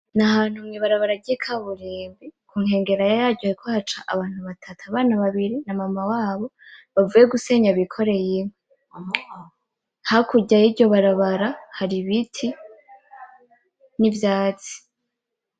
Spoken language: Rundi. N'ahantu mwibarabara ry'ikaburimbi kunkengera yaryo hariko haca abantu babatu abana babiri na mama wabo bavuye gusenya bikoreye inkwi. Hakurya yiryo barabara hari ibiti n'ivyatsi.